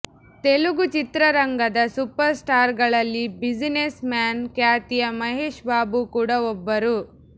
ತೆಲುಗು ಚಿತ್ರರಂಗದ ಸೂಪರ್ ಸ್ಟಾರ್ಗಳಲ್ಲಿ businessman ಖ್ಯಾತಿಯ ಮಹೇಶ್ ಬಾಬು ಕೂಡ ಒಬ್ಬರು